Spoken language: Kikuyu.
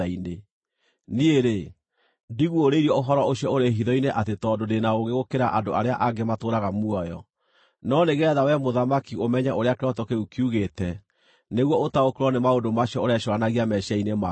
Niĩ-rĩ, ndiguũrĩirio ũhoro ũcio ũrĩ hitho-inĩ atĩ tondũ ndĩ na ũũgĩ gũkĩra andũ arĩa angĩ matũũraga muoyo, no nĩgeetha wee mũthamaki ũmenye ũrĩa kĩroto kĩu kiugĩte, nĩguo ũtaũkĩrwo nĩ maũndũ macio ũrecũũranagia meciiria-inĩ maku.